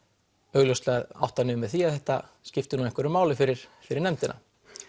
augljóslega átti hann við með því að þetta skipti nú einhverju máli fyrir fyrir nefndina